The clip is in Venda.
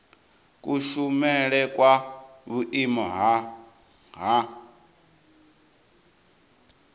kushumele kwa vhuimo ha nha